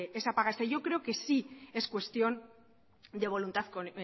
esa paga extra yo creo que sí es cuestión de voluntad